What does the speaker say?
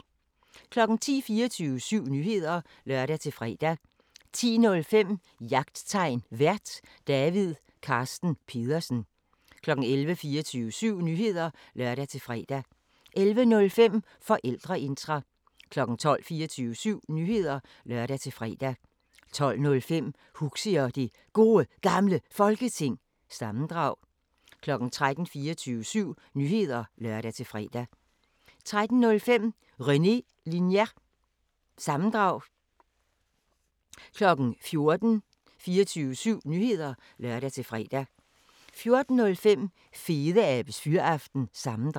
10:00: 24syv Nyheder (lør-fre) 10:05: Jagttegn Vært: David Carsten Pedersen 11:00: 24syv Nyheder (lør-fre) 11:05: Forældreintra 12:00: 24syv Nyheder (lør-fre) 12:05: Huxi og det Gode Gamle Folketing – sammendrag 13:00: 24syv Nyheder (lør-fre) 13:05: René Linjer- sammendrag 14:00: 24syv Nyheder (lør-fre) 14:05: Fedeabes Fyraften – sammendrag